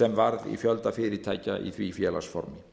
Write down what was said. sem orðið hefur í fjölda fyrirtækja á því félagaformi